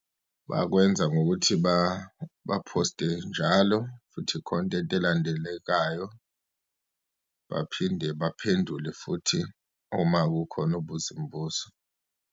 Bakwenza ngokuthi baphoste njalo, futhi i-content elandelekayo. Baphinde baphendule futhi, uma kukhona obuza imibuzo.